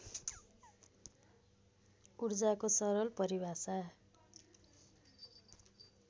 ऊर्जाको सरल परिभाषा